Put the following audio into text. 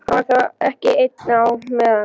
Hann var þá ekki einn á meðan.